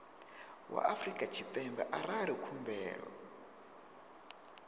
wa afrika tshipembe arali khumbelo